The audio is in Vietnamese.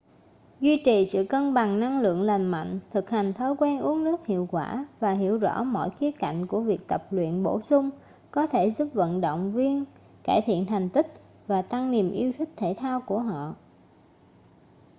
duy trì sự cân bằng năng lượng lành mạnh thực hành thói quen uống nước hiệu quả và hiểu rõ mọi khía cạnh của việc tập luyện bổ sung có thể giúp vận động viên cải thiện thành tích và tăng niềm yêu thích thể thao của họ